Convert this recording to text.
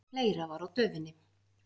Fleira var á döfinni.